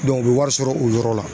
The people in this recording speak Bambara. u bɛ wari sɔrɔ o yɔrɔ la.